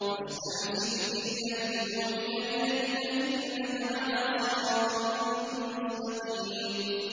فَاسْتَمْسِكْ بِالَّذِي أُوحِيَ إِلَيْكَ ۖ إِنَّكَ عَلَىٰ صِرَاطٍ مُّسْتَقِيمٍ